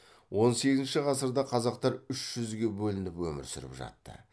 он сегізінші ғасырда қазақтар үз жүзге бөлініп өмір сүріп жатты